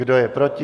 Kdo je proti?